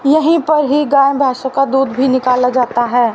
यही पर ही गाय भैंसे का दूध भी निकाला जाता है।